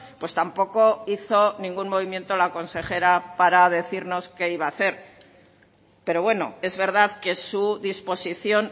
pues tampoco hizo ningún movimiento la consejera para decirnos qué iba hacer pero bueno es verdad que su disposición